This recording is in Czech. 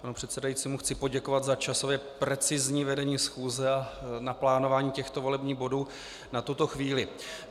Panu předsedajícímu chci poděkovat za časově precizní vedení schůze a naplánování těchto volebních bodů na tuto chvíli.